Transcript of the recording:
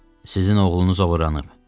Sizin oğlunuz oğurlanıb.